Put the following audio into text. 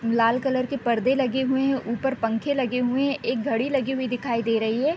लाल colour के पर्दे लगे हुए हैं। ऊपर पंखे लगे हुए है। एक घड़ी लगी हुई दिखाई दे रही है।